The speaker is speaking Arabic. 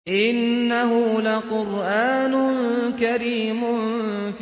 إِنَّهُ لَقُرْآنٌ كَرِيمٌ